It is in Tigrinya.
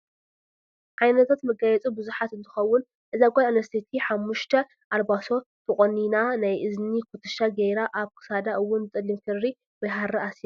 ዓይነታት መጋየፂ ብዙሓት እተከውን እዛ ጓል ኣነስተይቲ ሓሙስተ ኣልባሶ ተቆኒና ናይ እዝኒ ኩትሻ ገራ ኣብ ክሳዳ እውነ ብፀሊም ክሪ ወይ ሃሪ ኣሲራ ኣላ።